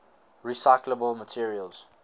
recyclable materials